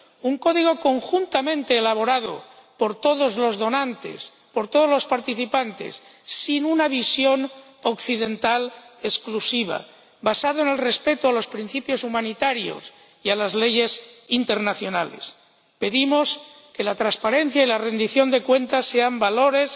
un código conjuntamente elaborado por todos los participantes, sin una visión occidental exclusiva, y basado en el respeto a los principios humanitarios y a las leyes internacionales. Pedimos que la transparencia y la rendición de cuentas sean valores